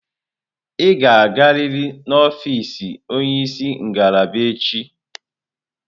Ị ga-agarịrị na ọfịz onye isi ngalaba echi!